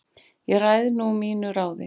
Ég ræð nú mínu ráði